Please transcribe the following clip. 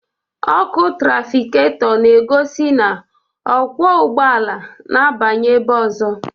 Ọkụ trafikato na-egosi na okwu ụgbọala n'abanye ebe ozo